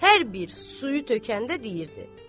Hər bir suyu tökəndə deyirdi.